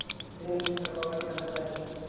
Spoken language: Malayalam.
ഇവൻ ഇവന്റ് സൂപ്പര്‍ പവറൊക്കെ മനസിലാക്കുന്നു